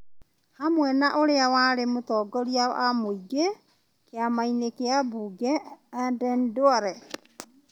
hamwe na ũrĩa warĩ mũtongoria wa mũingĩ kĩama-inĩ kĩa mbunge Aden Duale,